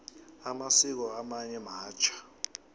amasiko amanye matjha